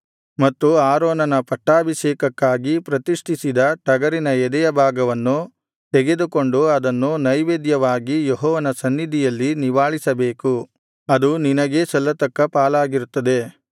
ಮತ್ತು ಆರೋನನ ಪಟ್ಟಾಭೀಷೇಕಕ್ಕಾಗಿ ಪ್ರತಿಷ್ಠಿಸಿದ ಟಗರಿನ ಎದೆಯ ಭಾಗವನ್ನು ತೆಗೆದುಕೊಂಡು ಅದನ್ನು ನೈವೇದ್ಯವಾಗಿ ಯೆಹೋವನ ಸನ್ನಿಧಿಯಲ್ಲಿ ನಿವಾಳಿಸಬೇಕು ಅದು ನಿನಗೇ ಸಲ್ಲತಕ್ಕ ಪಾಲಾಗಿರುತ್ತದೆ